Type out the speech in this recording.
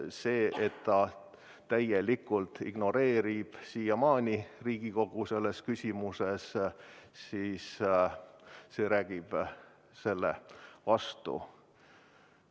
See, et ta täielikult ignoreerib siiamaani Riigikogu selles küsimuses, räägib selle vastu.